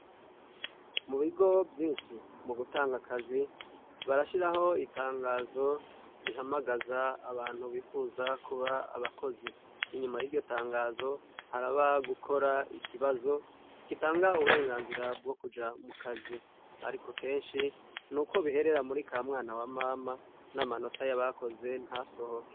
Mu bigo vyinshi mu gutanga akazi ,barashiraho itangazo rihamagaza abantu bifuza kuba abakozi ,inyuma y'iryo tangazo haraba gukora ikibazo gitanga uburenganzira bwo kuja mu kazi ,ariko kenshi nuko biherera muri kamwana wa mama ,n'amanota y'abakoze ntasohoke.